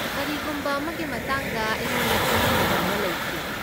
ꯀꯔꯤꯒꯨꯝꯕ ꯑꯃꯒꯤ ꯃꯇꯥꯡꯗ ꯑꯩꯉꯣꯟꯗ ꯆꯃꯝꯅꯕ ꯑꯃ ꯂꯩꯈꯤ ꯫